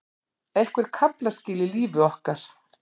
Einhver kaflaskil í lífi okkar.